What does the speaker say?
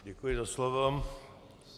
Děkuji za slovo.